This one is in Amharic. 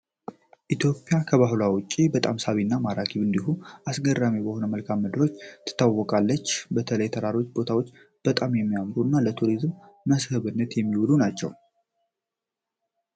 ኢትዮጵያ ከባህሏ ውጪ በጣም ሳቢ እና ማራኪ እንዲሁም አስገራሚ በሆኑ መልከአ ምድሮቿ ትታወቃለች። በተለይ ተራራማ ቦታዎቿ በጣም የሚያምሩ እና ለቱሪዝም መስህብነት የሚውሉ ናቸው።